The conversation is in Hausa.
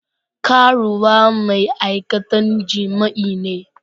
Karuwa ma'aikatan jima'i ne.